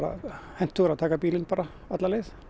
hentugra að taka bílinn alla leið